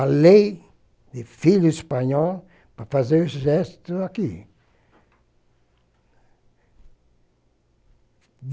A lei de filho espanhol para fazer o gesto aqui.